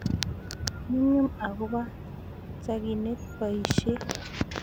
Nyumnyum akopo chakinet poishet